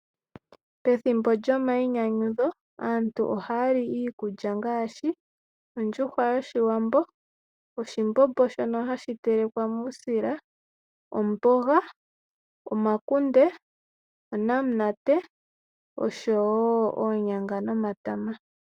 Pethimbo lyomainyanyudho aantu ohaya li iikulya ngaashi ondjuhwa yoshiwambo, oshimbombo shono hashi telekwa muusila , omboga, omakunde , onamunate oshowo oonyanga nomatama.